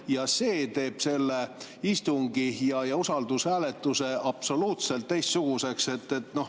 Ja see teeb sellise istungi ja usaldushääletuse absoluutselt teistsuguseks.